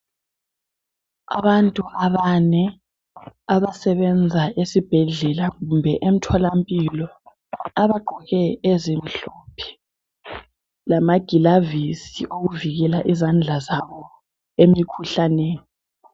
Abantu abane abasebenza esibhedlela kumbe emtholampilo, abagqoke ezimhlophe lamagilavisi awokuvikela izandla zabo emikhuhlaneni.